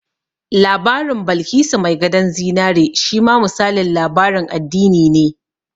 Labarin Balkisu mai gadon zinari shi ma misalin labarin addini ne